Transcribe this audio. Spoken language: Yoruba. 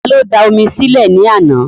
Ta ló da omi sí lẹ̀ ní àná?